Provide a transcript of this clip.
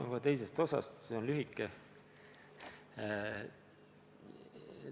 Ma alustan teisest küsimusest, see vastus on lühike.